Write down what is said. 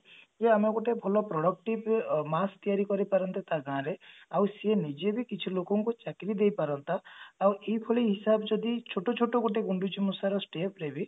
ଯେ ଆମେ ଗୋଟେ ଭଲ productive ତିଆରି କରି ପାରନ୍ତା ତା ଗାଁରେ ଆଉ ସିଏ ନିଜେ ବି କିଛି ଲୋକଙ୍କୁ ଚାକିରି ଦେଇ ପାରନ୍ତା ଆଉ ଏଇଭଳି ହିସାବ ଯଦି ଛୋଟ ଛୋଟ ଗୋଟେ ଗୁଣ୍ଡୁଚିମୂଷା ର step ରେ ବି